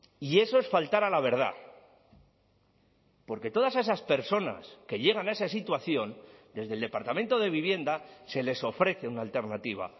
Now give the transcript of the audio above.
y eso es faltar a la verdad porque todas esas personas que llegan a esa situación desde el departamento de vivienda se les ofrece una alternativa